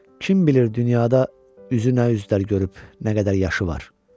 Kim bilir dünyada üzü nə üzlər görüb, nə qədər yaşı var.